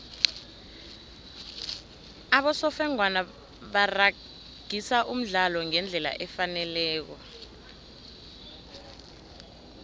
abosofengwana baragisa umdlalo ngendlela efaneleko